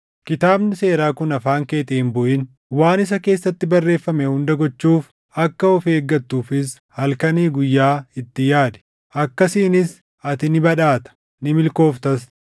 Kitaabni Seeraa kun afaan keetii hin buʼin. Waan isa keessatti barreeffame hunda gochuuf akka of eeggattuufis halkanii guyyaa itti yaadi. Akkasiinis ati ni badhaata; ni milkooftas.